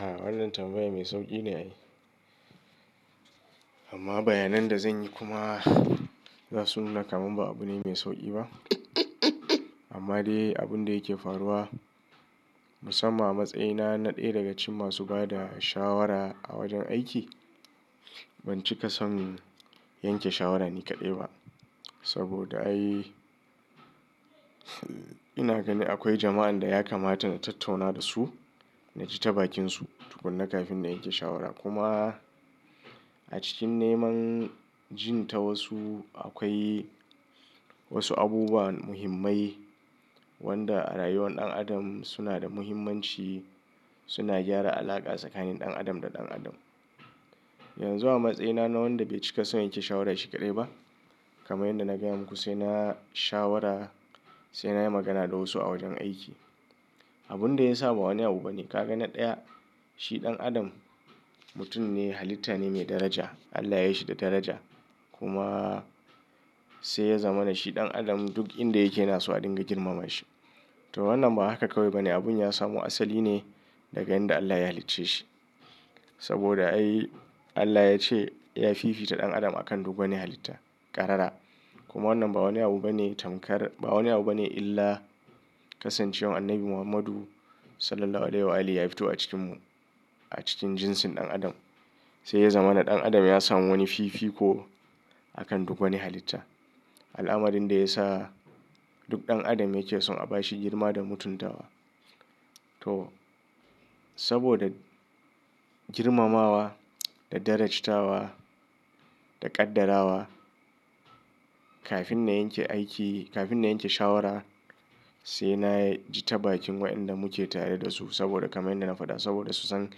A'a wannan tambayan mai sauƙi ne. Amma bayanan da zan yi kuma za su nuna kaman ba abu ne mai sauƙi ba. Amma dai abun da yake faruwa musamman a matsayina na ɗaya daga cikin masu ba da shawara a wajen aiki. Ban cika son yanke shawara ni kaɗai ba saboda ai ina gani akwai jama'an da ya kamata na tattauna da su na ji ta bakinsu tukuna kafin na yanke shawara. Kuma a cikin neman jin ta wasu akwai wasu abubuwa muhimmai wanda a rayuwar ɗan adam suna da muhimmanci, suna gyara alaƙa tsakanin ɗan adam da ɗan adam. Yanzu a matsayina na wanda bai cika son yanke shawara shi kaɗai ba kamar yadda na gaya muku sai na shawara sai na yi magana da wasu a wajen aiki. Abun da ya sa ba wani abu bane ka gani ɗaya shi ɗan adam mutum ne halitta ne mai daraja Allah ya yi shi da daraja kuma sai ya zamana shi ɗan adam duk inda yake nasu a dinga girmama shi. To wannan ba haka kawai bane abun ya samu asali ne daga inda Allah ya halicce shi saboda ai Allah ya ce ya fifita ɗan adam akan duk wani halitta ƙarara. Kuma wannan ba wani abu bane tamkar ba wani abu bane illa kasancewar Annabi Muhammadu Sallallahu Alaihi Wa alli ya fito a cikin mu a cikin jinsin ɗan adam. Sai ya zama na ɗan adam ya samu wani fifiko akan duk wani halitta. Al'amarin da ya sa duk ɗan adam yake son a bashi girma da mutuntawa. To saboda girmamawa da darajtawa da ƙaddara wa kafin na yanke aiki kafin na yanke shawara sai nayi ji tabakin wa'inda muke tare da su saboda kamar yadda na faɗa saboda su san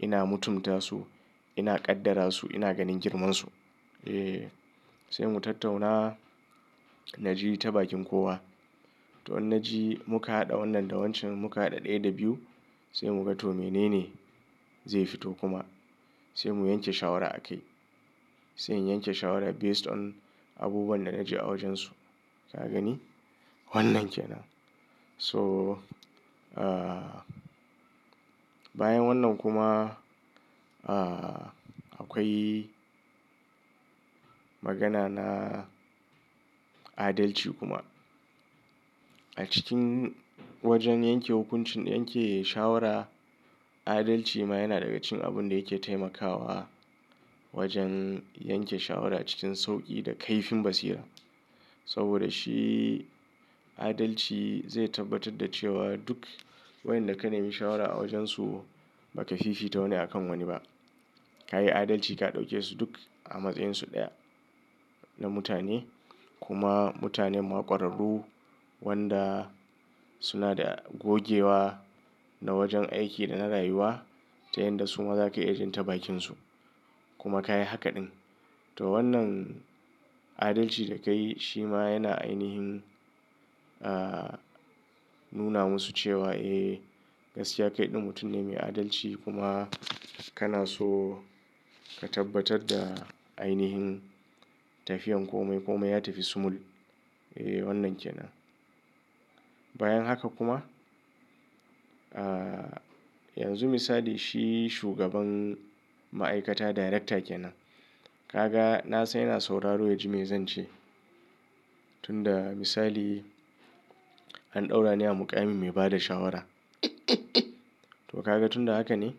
ina mutunta su ina ƙaddara su ina ganin girmansu. Eh sai mu tattauna na ji ta bakin kowa to in na ji muka haɗa wannan da wancan muka haɗa ɗaya da biyu sai muga to menene zai fito kuma sai mu yanke shawara a kai. Sai in yanke shawara based on abubuwan da na ji a wajensu. Ka gani wannan ke nan. So ah bayan wannan kuma ah akwai magana na adalci kuma. A cikin wajen yanke hukuncin yanke shawara adalci ma yana daga cikin abun da yake taimakawa wajen yanke shawara cikin sauƙi da kaifin basira. Saboda shi adalci zai tabbatar da cewa duk wayanda ka nemi shawara a wajensu ba ka fifita wani akan wani ba. Ka yi adalci ka ɗauke su duk a matsayinsu ɗaya na mutane kuma mutanen ma kwararru wanda suna da gogewa na wajen aiki da na rayuwa ta yanda su ma za ka iya jin tabakinsu. Kuma ka yi hakaɗin to wannan adalci da ka yi shi ma yana ainihin ah nuna musu cewa eh gaskiya kai ɗin mutum ne mai adalci kuma kana so ka tabbatar da ainihin tafiyan komai komai ya tafi sumul. Eh wannan ke nan. Bayan haka kuma ah yanzu misali shi shugaban ma'aikata director kenan. Ka ga na san yana sauraro ya ji mai zance. Tunda misali an ɗaura ni a muƙami mai ba da shawara. To ka ga tunda haka ne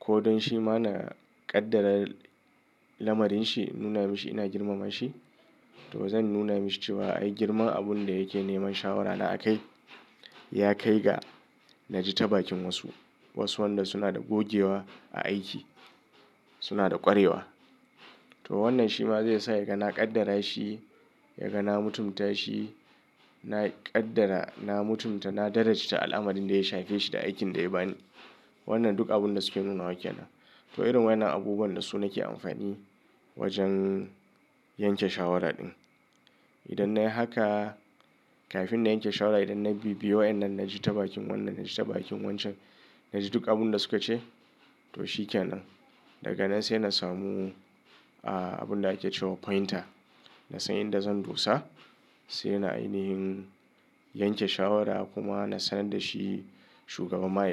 ko don shi ma na ƙaddara lamarinshi nuna mashi ina girmama shi to zan nuna mashi cewa ai girman abun da yake neman shawara na a kai ya kai ga na ji tabakin wasu. Wasu wanda suna da gogewa a aiki suna da ƙwarewa. To wannan shi ma zai sa ya ga na ƙaddara shi ya ga na mutunta shi na ƙaddara na mutunta na darajita al'amarin da ya shafe shi da aikin da ya ba ni. Wannan duk abun da suke nuna wa ke nan. To irin wayanan abubuwan da su nake amfani wajen yanke shawaraɗin. Idan na yi haka kafin na yanke shawara idan na bibiye wayannan na ji ta bakin wannan na ji ta bakin wancan na ji duk abun da suka ce to shi ke nan. Daga nan sai na samu ah abun da ake cewa pointer. Na san inda zan dosa sai na ainihin yanke shawara kuma na sanar da shi shugaban ma'aikata.